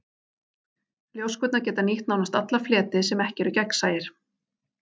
Ljóskurnar geta nýtt nánast alla fleti sem ekki eru gegnsæir.